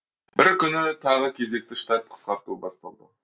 бір күні тағы кезекті штат қысқарту басталды